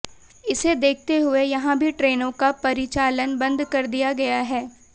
इसे देखते हुए यहां भी ट्रेनों का परिचालन बंद कर दिया गया है